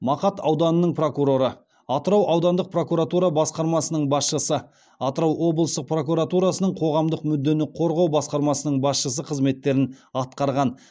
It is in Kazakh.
мақат ауданының прокуроры атырау аудандық прокуратура басқармасының басшысы атырау облыстық прокуратурасының қоғамдық мүддені қорғау басқармасының басшысы қызметтерін атқарған